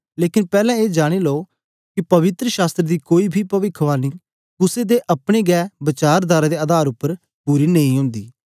लेकन पैहले ए जानी लो कि पवित्र शास्त्र दी कोई बी पविखवाणी कुसे दे अपने हे बचारधारा दे आधार उप्पर पूरी नेईं होंदी